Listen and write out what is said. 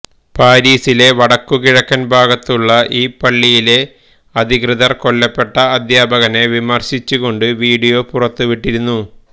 പാരീസിലെ വടക്കുകിഴക്കൻ ഭാഗത്തുള്ള ഈ പള്ളിയിലെ അധികൃതർ കൊല്ലപ്പെട്ട അദ്ധ്യാപകനെ വിമർശിച്ചുകൊണ്ട് വീഡിയോ പുറത്തു വിട്ടിരുന്നു